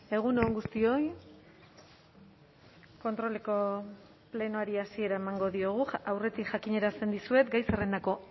egun on guztioi kontroleko plenoari hasiera emango diogu aurretik jakinarazten dizuet gai zerrendako